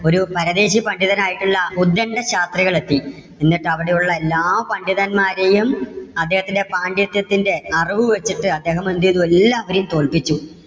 ഒരു പരദേശി പണ്ഡിതനായിട്ടുള്ള ഉത്ഗണ്ട ശാസ്ത്രികൾ എത്തി. എന്നിട്ട് അവിടെ ഉള്ള എല്ലാ പണ്ഡിതന്മാരെയും അദ്ദേഹത്തിന്‍ടെ പാണ്ഡിത്യത്തിന്‍ടെ അറിവ് വെച്ചിട്ട് അദ്ദേഹം എന്ത് ചെയ്തു? എല്ലാവരെയും തോൽപിച്ചു.